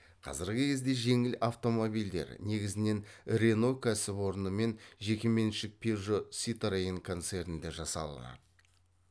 қазіргі кезде жеңіл автомобильдер негізінен рено кәсіпорны мен жеке меншік пежо ситроен концернде жасалады